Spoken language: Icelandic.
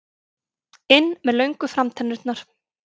inn með löngu framtennurnar.